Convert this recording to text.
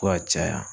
Ko ka caya